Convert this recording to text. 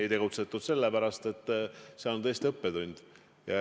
Ei tegutsetud sellepärast, et see on tõesti õppetund.